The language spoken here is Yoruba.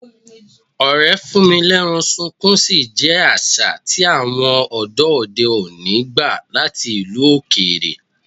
Ọ̀rẹ́ fún-mi-lẹ́rán-sunkún-sí jẹ jẹ́ àṣà tí àwọn ọ̀dọ́ òde òní gbà láti ìlú òkèèrè.